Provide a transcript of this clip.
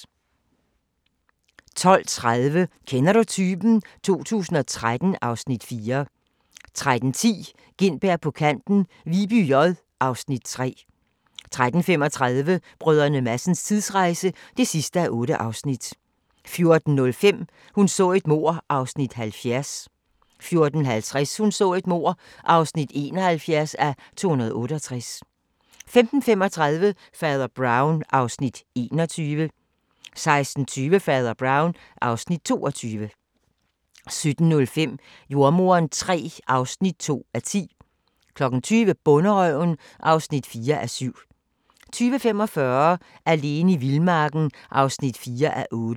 12:30: Kender du typen? 2013 (Afs. 4) 13:10: Gintberg på kanten – Viby J (Afs. 3) 13:35: Brdr. Madsens tidsrejse (8:8) 14:05: Hun så et mord (70:268) 14:50: Hun så et mord (71:268) 15:35: Fader Brown (Afs. 21) 16:20: Fader Brown (Afs. 22) 17:05: Jordemoderen III (2:10) 20:00: Bonderøven (4:7) 20:45: Alene i vildmarken (4:8)